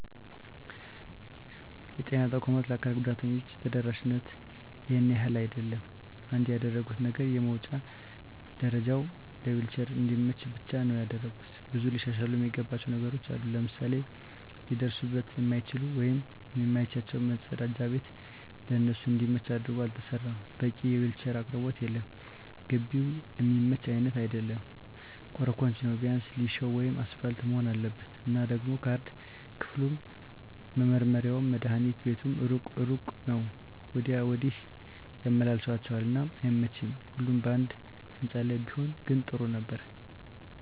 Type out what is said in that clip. የጤና ተቋማት ለአካል ጉዳተኞች ተደራሽነቱ ይሄን ያህል አይደለም። አንድ ያደረጉት ነገር የመዉጫ ደረጀዉ ለዊልቸር እንዲመች ብቻ ነዉ ያደረጉት። ብዙ ሊሻሻሉ እሚገባቸዉ ነገሮች አሉ፤ ለምሳሌ ሊደርሱበት እሚችሉት ወይም እሚመቻቸዉ መፀዳጃ ቤት ለነሱ እንዲመች አድርጎ አልተሰራም፣ በቂ የዊልቸር አቅርቦት የለም፣ ግቢዉም እሚመች አይነት አይደለም ኮሮኮንች ነዉ ቢያንስ ሊሾ ወይም አሰፓልት መሆን አለበት። እና ደሞ ካርድ ክፍሉም፣ መመርመሪያዉም፣ መድሀኒት ቤቱም እሩቅ ለእሩቅ ነዉ ወዲያ ወዲህ ያመላልሷቸዋል እና አይመቺም ሁሉም ባንድ ህንፃ ላይ ቢሆን ግን ጥሩ ነበር።